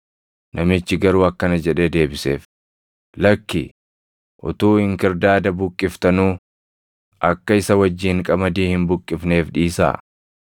“Namichi garuu akkana jedhee deebiseef; ‘Lakki, utuu inkirdaada buqqiftanuu, akka isa wajjin qamadii hin buqqifneef dhiisaa.